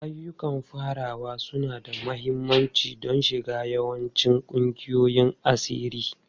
Ayyukan farawa suna da mahimmanci don shiga yawancin ƙungiyoyin asiri.